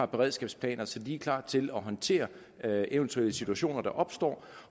beredskabsplaner så de er klar til at håndtere eventuelle situationer der opstår